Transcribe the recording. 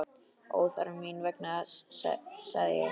Óþarfi mín vegna, sagði hann.